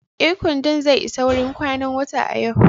Ee, kwandon zai isa wurin kwanan wata a yau.